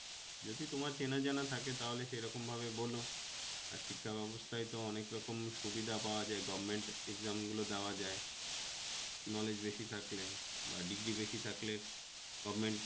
যদি তোমার চেনা জানা থাকে তাহলে সে রকমভাবে বল আর শিক্ষা ব্যবস্থায় তো অনেক রকম সুবিধা পাওয়া যায় government exam গুলো দেওয়া যায়, knowledge বেশি থাকলে বা degree বেশি থাকলে govment